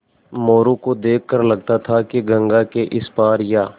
मोरू को देख कर लगता था कि गंगा के इस पार या